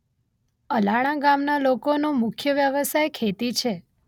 અલાણા ગામના લોકોનો મુખ્ય વ્યવસાય ખેતી છે.